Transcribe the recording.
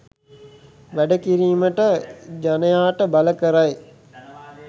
වැඩ කිරීමට ජනයාට බල කරයි